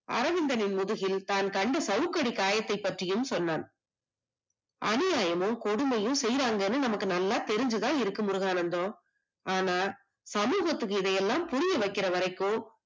அரவிந்தனின் முதுகில் தான் கண்ட சவுக்கடி காயம் பற்றியும் சொன்னான், அணுஅளவும் கொடுமைகள் செய்தாங்கன்னு நமக்கு நல்லா தெரிஞ்சுத இருக்கு முருகானந்தம், ஆனா சமூகத்துக்கு இது எல்லாம் புரியவைகுற வரைக்கும்